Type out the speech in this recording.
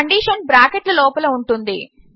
condition bracket ల లోపల ఉంటుంది